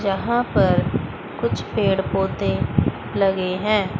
यहां पर कुछ पेड़ पौधे लगे हैं।